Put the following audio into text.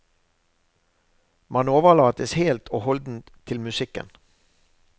Man overlates helt og holdent til musikken.